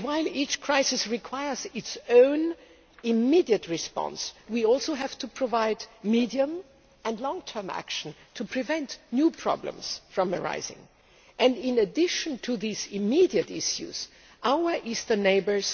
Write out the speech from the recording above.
While each crisis requires its own immediate response, we also have to provide medium and long term action to prevent new problems from arising and, in addition to these immediate issues, our eastern neighbours